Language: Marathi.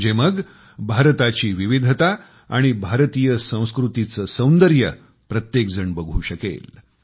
म्हणजे मग भारताची विविधता आणि भारतीय संस्कृतीचे सौंदर्य प्रत्येक जण बघू शकेल